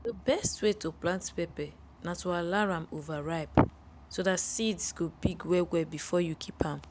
dey best way to plant pepper na to allow am overripe so dat seeds go big well well before u kip am.